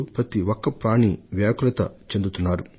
ప్రతి ఒక్క ప్రాణి బాధను అనుభవిస్తున్నారు